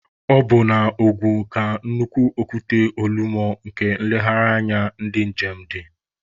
Ọ bụ na Ogun ka nnukwu okwute Olumọ nke nlegharị anya ndi njem dị.